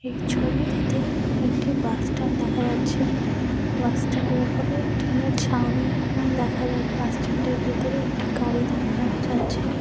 এই ছবিটিতে একটি বাস স্ট্যান্ড দেখা যাচ্ছে । বাস স্ট্যান্ড -এর ওপরে টিনের ছাউনি দেখা যাক বাস স্ট্যান্ড -এর ভেতরে একটি গাড়ি দেখা যাচ্ছে ।